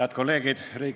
Head kolleegid!